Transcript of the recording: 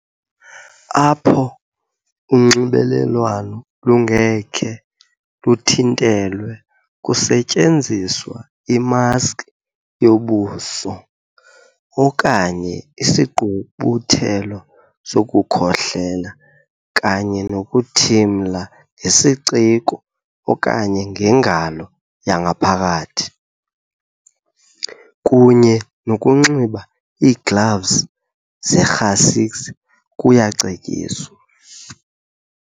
Apho unxibelelwano lungekhe luthintelwe, kusetyenziswa imaski yobuso, okanye isigqubuthelo sokukhohlela kunye nokuthimla ngesiciko okanye ngengalo yangaphakathi, kunye nokunxiba iigloves zerhasix kuyacetyiswa.